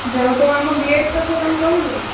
ଯାହାହଉ ତୁ ଆମ B.Ed କଥା ତାଂକୁ କହିଲୁନା?